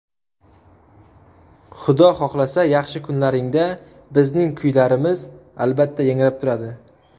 Xudo xohlasa yaxshi kunlaringda bizning kuylarimiz albatta yangrab turadi.